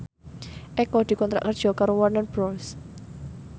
Eko dikontrak kerja karo Warner Bros